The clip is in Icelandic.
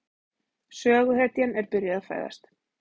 Söguhetjan er byrjuð að fæðast.